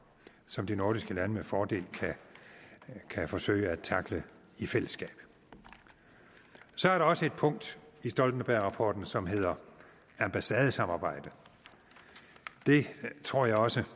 som de nordiske lande med fordel kan forsøge at tackle i fællesskab så er der også et punkt i stoltenbergrapporten som handler om ambassadesamarbejdet det tror jeg også